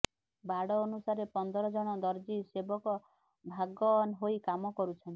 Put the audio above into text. ବାଡ ଅନୁସାରେ ପନ୍ଦର ଜଣ ଦର୍ଜି ସେବକ ଭାଗ ହୋଇ କାମ କରୁଛନ୍ତି